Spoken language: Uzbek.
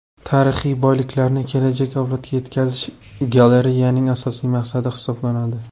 Tarixiy boyliklarni kelajak avlodga yetkazish galereyaning asosiy maqsadi hisoblanadi.